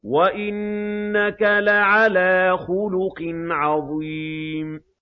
وَإِنَّكَ لَعَلَىٰ خُلُقٍ عَظِيمٍ